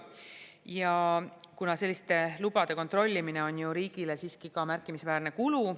Ja kuna selliste lubade kontrollimine on riigile siiski ka märkimisväärne kulu.